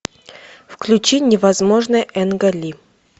включи невозможное энга ли